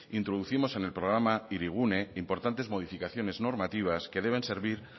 introducimos en el programa hirigune importantes modificaciones normativas que deben servir